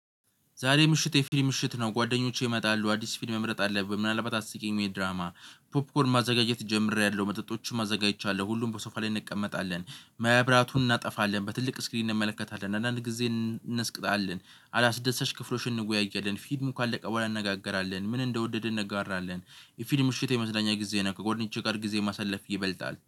ዛሬ ምሽት የፊል ምሽት ነው። ጓደኞቼ ይመጣሉ አዲስ ፊልም መምረጥ አለብኝ። ምናልባት አስቂኝ ወይ ድራማ ፖፕኮርን ማዘጋጀት ጀምሬያለሁ መጠጦችን አዘጋጅቻለሁ። ሁሉም በሶፋ ላይ እንቀመጣለን። መብራቱን እናጠፋለን በትልቅ ስክሪን እንመለከታለን። አንዳንድ ጊዜ እንስቅጣለን አላስደሰች ክፍሎችን እንወያያለን። ፊልሙ ካለቀ በኋላ እንነጋገራለን ምን እንደወደድን እንጋራለን። የፊልም ምሽት የመመዝናኛ ጊዜ ነው። ከጓደኛቼ ጋር ጊዜ ማሳለፍ ይበልጣል